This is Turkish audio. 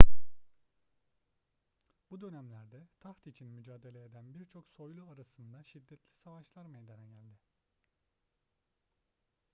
bu dönemlerde taht için mücadele eden birçok soylu arasında şiddetli savaşlar meydana geldi